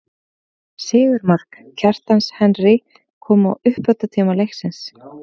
Sigurmark, Kjartans Henry kom í uppbótartíma leiksins.